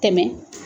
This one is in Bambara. Tɛmɛ